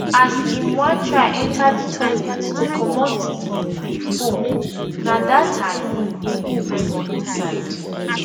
as im wan try enta di toilet to comot di di phone na dat time im hook for inside